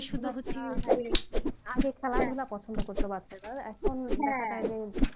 আগে খেলাধুলা পছন্দ করত বাচ্চারা আর এখন